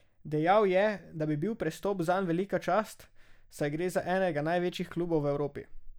Dejal je, da bi bil prestop zanj velika čast, saj gre za enega največjih klubov v Evropi.